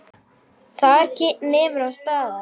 Þar nemur hann staðar.